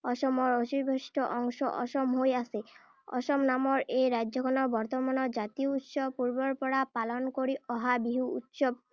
অসমৰ অৱশিষ্ট অংশ অসম হৈ আছে। অসম নামৰ এই ৰাজ্যখনৰ বৰ্তমানৰ জাতীয় উৎসৱ পূৰ্বৰ পৰা পালন কৰি অহা বিহু উৎসৱ।